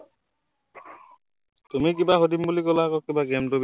তুমি কিবা সুধিম বুলি কলা আক কিবা game টোৰ বিষয়ে।